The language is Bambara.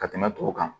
Ka tɛmɛ tɔw kan